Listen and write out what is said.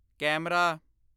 camera